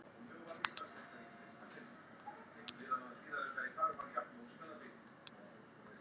Heppnaðist aðgerðin sjálf?